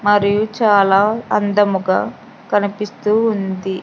మరియు చాలా అందముగా కనిపిస్తూ ఉంది.